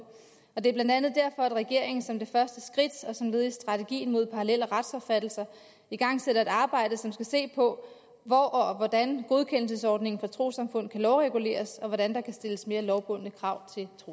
og det er blandt andet derfor at regeringen som det første skridt og som led i strategien mod parallelle retsopfattelser igangsætter et arbejde som skal se på hvor og hvordan godkendelsesordningen for trossamfund kan lovreguleres og hvordan der kan stilles mere lovbundne krav